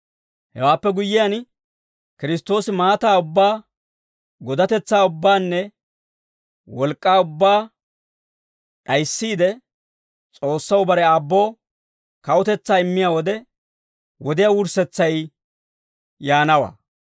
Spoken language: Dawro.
Hewaappe guyyiyaan, Kiristtoosi maataa ubbaa, godatetsaa ubbaanne wolk'k'aa ubbaa d'ayissiide, S'oossaw bare Aabboo kawutetsaa immiyaa wode, wodiyaa wurssetsay yaanawaa.